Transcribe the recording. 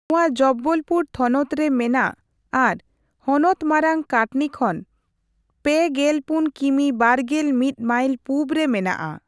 ᱱᱚᱣᱟ ᱡᱚᱵᱵᱚᱞᱯᱩᱨ ᱛᱷᱚᱱᱚᱛ ᱨᱮ ᱢᱮᱱᱟᱜ ᱟᱨ ᱦᱚᱱᱚᱛ ᱢᱟᱨᱟᱝ ᱠᱟᱴᱱᱤ ᱠᱷᱚᱱ ᱯᱮᱜᱮᱞᱯᱩᱱ ᱠᱤᱢᱤ ᱵᱟᱨᱜᱮᱞ ᱢᱤᱛ ᱢᱟᱭᱤᱞ ᱯᱩᱵᱨᱮ ᱢᱮᱱᱟᱜᱼᱟ ᱾